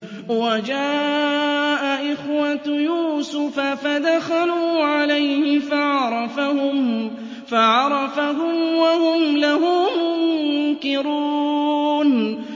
وَجَاءَ إِخْوَةُ يُوسُفَ فَدَخَلُوا عَلَيْهِ فَعَرَفَهُمْ وَهُمْ لَهُ مُنكِرُونَ